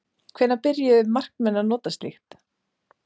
Hvenær byrjuðu markmenn að nota slíkt?